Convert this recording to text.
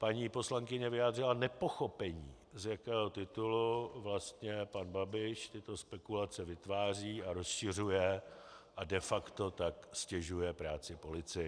Paní poslankyně vyjádřila nepochopení, z jakého titulu vlastně pan Babiš tyto spekulace vytváří a rozšiřuje a de facto tak ztěžuje práci policii.